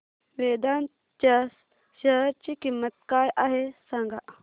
वेदांत च्या शेअर ची किंमत काय आहे सांगा